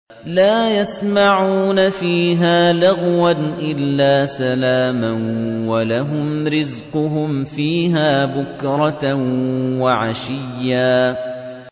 لَّا يَسْمَعُونَ فِيهَا لَغْوًا إِلَّا سَلَامًا ۖ وَلَهُمْ رِزْقُهُمْ فِيهَا بُكْرَةً وَعَشِيًّا